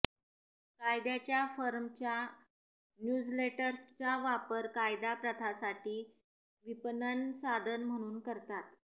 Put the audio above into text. कायद्याच्या फर्मच्या न्यूझलेटर्सचा वापर कायदा प्रथासाठी विपणन साधन म्हणून करतात